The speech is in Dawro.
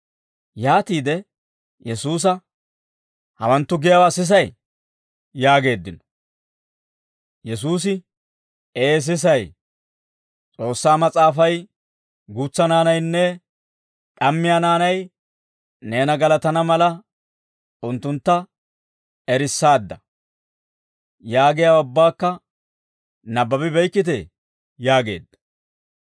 Yaatiide Yesuusa, «Hawanttu giyaawaa sisay?» yaageeddino. Yesuusi, «Ee sisay; S'oossaa Mas'aafay, ‹Guutsa naanaynne d'ammiyaa naanay neena galatana mala, unttuntta erissaadda› yaagiyaawaa ubbakka nabbabi beykkitee?» yaageedda.